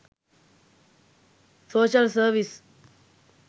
social service